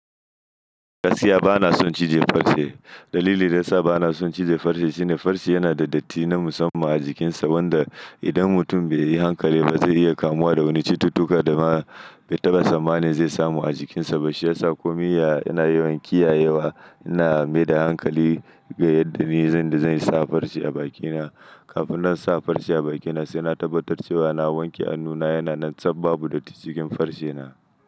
Gaskiya bana son cije farce. Dalili da ya sa bana son cije farce shine farce yana da datti na musamman a jikinsa, wanda idan mutum bai yi hankali ba zai iya kamuwa da wani cututtuka da ma bai taɓa tsammanin zai samu a jikinsa. To shiyasa komi yaya ina yawan kiyayewa, ina mai da hankali ga yadda ni zan da zan sa farce a bakina. Kafin na sa farce a bakina sai na tabbatar cewa na wanke hannuna, yana nan tsaf babu datti cikin farcena.